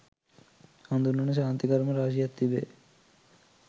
හදුන්වන ශාන්ති කර්ම රාශියක් තිබේ.